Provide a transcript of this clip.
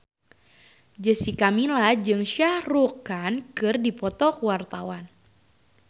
Jessica Milla jeung Shah Rukh Khan keur dipoto ku wartawan